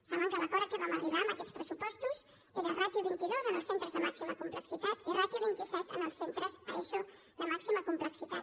saben que l’acord a què vam arribar en aquests pressupostos era ràtio vint dos en els centres de màxima complexitat i ràtio vint set en els centres a eso de màxima complexitat